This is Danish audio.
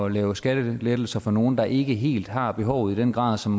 lave skattelettelser for nogle der ikke helt har behovet i den grad som